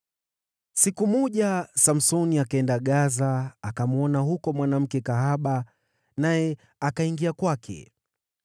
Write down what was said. Siku moja Samsoni alienda Gaza, akamwona mwanamke kahaba, naye akaingia kwake.